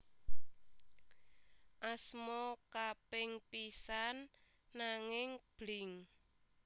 Asma kaping pisan nanging Blink